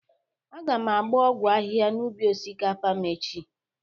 Aga m agba ọgwọ ahịha n'ubi osikapa m echi.